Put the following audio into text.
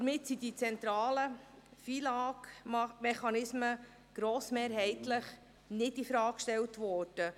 Damit sind die zentralen FILAG-Mechanismen grossmehrheitlich nicht infrage gestellt worden.